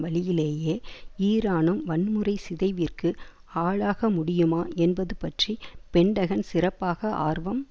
வழியிலேயே ஈரானும் வன்முறை சிதைவிற்கு ஆளாகமுடியுமா என்பது பற்றி பென்டகன் சிறப்பாக ஆர்வம்